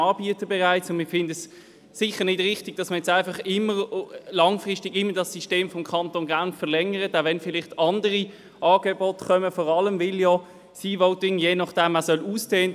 Der Regierungsrat ist aufgefordert beim Weiterbetrieb des E-Votings für Auslandschweizerinnen und Auslandschweizer auch den Sicherheitsbedenken bezüglich allfälliger Manipulationen Rechnung zu tragen.